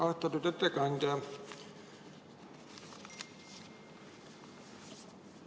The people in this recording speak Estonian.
Austatud ettekandja!